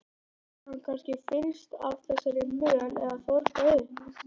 Hafði hann kannski fyllst af þessari möl eða þornað upp?